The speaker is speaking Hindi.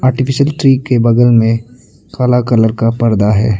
ट्री के बगल में काला कलर का परदा है।